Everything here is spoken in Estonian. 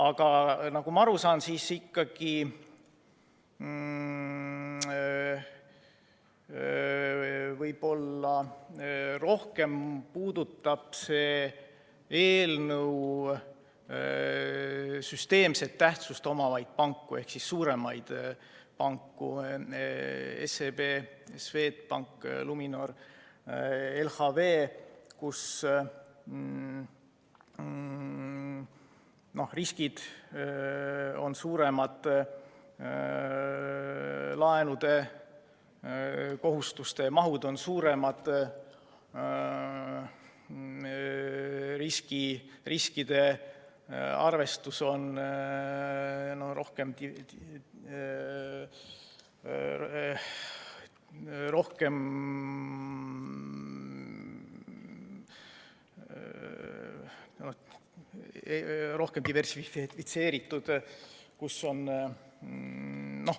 Aga nagu ma aru saan, siis võib-olla rohkem puudutab see eelnõu ikkagi süsteemset tähtsust omavaid panku ehk suuremaid panku – SEB-d, Swedbanki, Luminori ja LHV-d –, kus riskid on suuremad, laenukohustuste mahud on suuremad, riskide arvestus on rohkem diversifitseeritud.